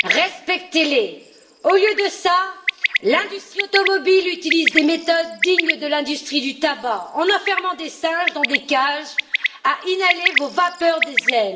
Respectez les! Au lieu de cela, l'industrie automobile utilise des méthodes dignes de l'industrie du tabac en enfermant des singes dans des cages, à inhaler vos vapeurs diesel.